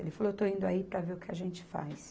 Ele falou, eu estou indo aí para ver o que a gente faz.